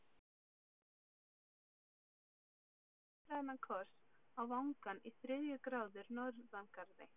Aldrei hefur kona fengið jafn-suðrænan koss á vangann í þriðju gráðu norðangarði.